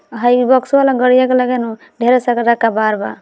हई बॉक्सवा वाला गड़िया के लगे नू ढेरे सारा कबाड़ बा।